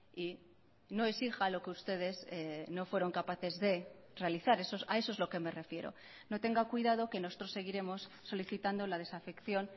y no exija lo que ustedes no fueron capaces de realizar a eso es lo que me refiero no tenga cuidado que nosotros seguiremos solicitando la desafección